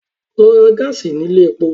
Lọ ra gáàsì ní ilé epo!